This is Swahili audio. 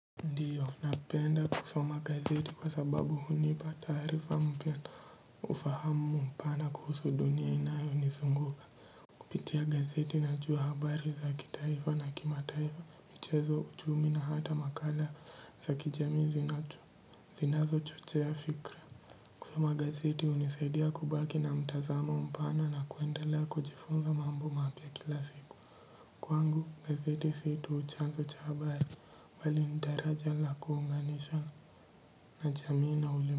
Ndio, napenda kusoma gazeti kwa sababu hunipa taarifa mpya, ufahamu mpana kuhusu dunia inayonizunguka. Kupitia gazeti najua habari za kitaifa na kimataifa, michezo ujumla na hata makala za kijamii zinatu. Zinazochochea fikra. Kusoma gazeti hunisaidia kubaki na mtazamo mpana na kuendelea kujifunza mambo mapya kila siku. Kwangu gazeti sii tu chanzo cha habari bali ni daraja la kuunganisha na jamii na ulim.